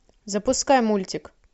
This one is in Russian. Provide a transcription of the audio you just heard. запускай мультик